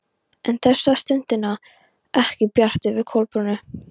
En þessa stundina var ekki bjart yfir Kolbrúnu.